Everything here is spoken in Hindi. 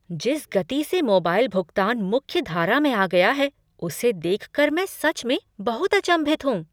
जिस गति से मोबाइल भुगतान मुख्य धारा में आ गया है उसे देखकर मैं सच में बहुत अचंभित हूँ।